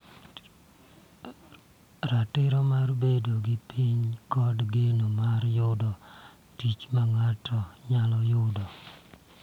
Ratiro mar bedo gi piny, kod geno mar yudo tich ma ng�ato nyalo yudo.